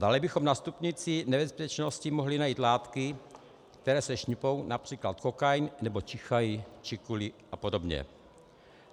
Dále bychom na stupnici nebezpečnosti mohli najít látky, které se šňupou, například kokain, nebo čichají - čikuli a podobně.